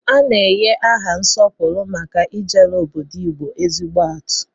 A na-enye aha nsọpụrụ maka ijere obodo Igbo ezigbo atụ.